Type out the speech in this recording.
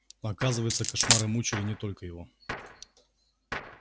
оказывается кошмары мучили не только его